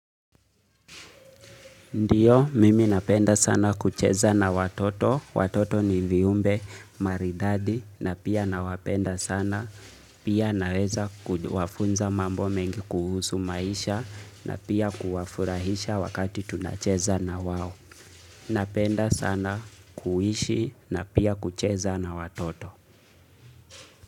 Ndiyo, mimi napenda sana kucheza na watoto. Watoto ni viumbe maridadi na pia nawapenda sana. Pia naweza kuwafunza mambo mengi kuhusu maisha na pia kuwafurahisha wakati tunacheza na wao. Napenda sana kuishi na pia kucheza na watoto.